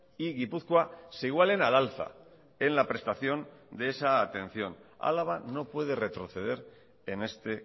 y gipuzkoa se igualen al alza en la prestación de esa atención álava no puede retroceder en este